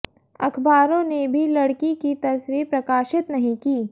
अखबारों ने भी लड़की की तस्वीर प्रकाशित नहीं की